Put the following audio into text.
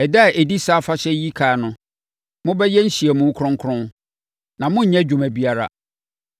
Ɛda a ɛdi saa afahyɛ yi ɛkan no, mobɛyɛ nhyiamu kronkron, na monnyɛ adwuma biara.